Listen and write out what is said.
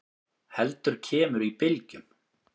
heldur kemur í bylgjum.